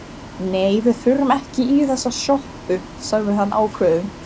Nei, við förum ekki í þessa sjoppu, sagði hann ákveðinn.